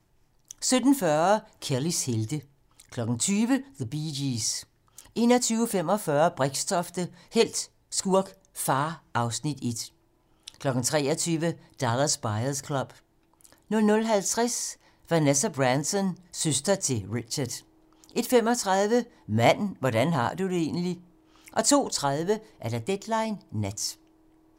17:40: Kellys helte 20:00: The Bee Gees 21:45: Brixtofte - helt, skurk, far (Afs. 1) 23:00: Dallas Buyers Club 00:50: Vanessa Branson - søster til Richard 01:35: Mand, hvordan har du det egentligt? 02:30: Deadline nat